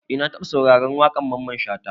Eh na taba sauraron waƙar Mamman Shata.